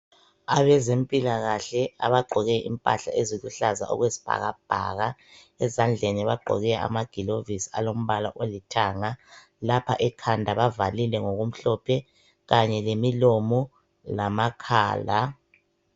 Abezempilakahle abagqoke impahla eziluhlaza okwesibhakabhaka. Ezandleni bagqoke amagilovisi alombala olithanga. Lapha ekhanda bavalile ngokumhlophe kanye lemilomo, lamakhala